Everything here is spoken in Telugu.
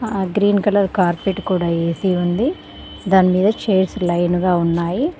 ఆ గ్రీన్ కలర్ కార్పేట్ కూడా ఏసీ ఉంది దాని మీద చైర్స్ లైన్ గా ఉన్నాయి.